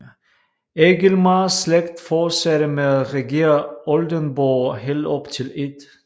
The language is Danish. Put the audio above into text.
Egilmars slægt fortsatte med at regere Oldenborg helt op til 1